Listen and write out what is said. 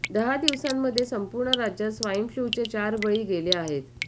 दहा दिवसांमध्ये संपूर्ण राज्यात स्वाईन फ्लूचे चार बळी गेले आहेत